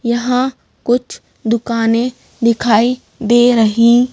यहाँ कुछ दुकानें दिखाई दे रही--